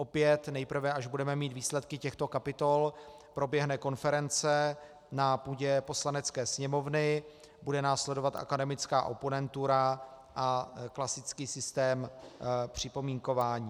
Opět nejprve, až budeme mít výsledky těchto kapitol, proběhne konference na půdě Poslanecké sněmovny, bude následovat akademická oponentura a klasický systém připomínkování.